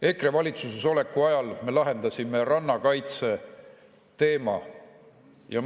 EKRE valitsusesoleku ajal me lahendasime rannakaitse teema.